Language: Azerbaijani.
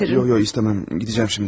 Yox yox istəmirəm, gedəcəyəm indi.